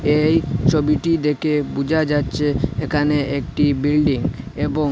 এই ছবিটি দেখে বোঝা যাচ্ছে এখানে একটি বিল্ডিং এবং--